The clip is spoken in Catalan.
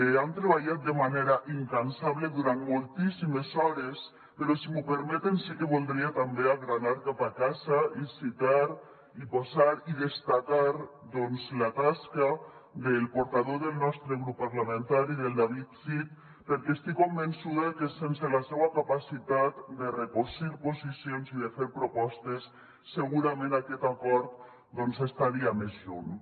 hi han treballat de manera incansable durant moltíssimes hores però si m’ho permeten sí que voldria també agranar cap a casa i citar i posar i destacar doncs la tasca del portaveu del nostre grup parlamentari del david cid perquè estic convençuda que sense la seua capacitat de recosir posicions i de fer propostes segurament aquest acord estaria més lluny